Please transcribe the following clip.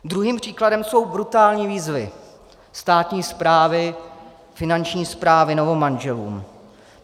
Druhým příkladem jsou brutální výzvy státní správy, Finanční správy, novomanželům.